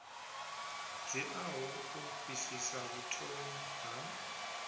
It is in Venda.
dziaho u fhirsisa vhuthomi ha